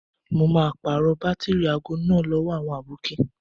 Mo máa pàrọ̀ bátìrì aago náà lówó àwọn àbókí.